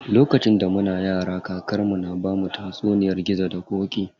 Lokacin da muna yara, kakar mu na bamu tatsuniyar gizo da ƙoƙi.